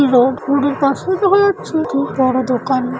লোভ ভুরুর পাশে হয়েছে কি তার দোকান।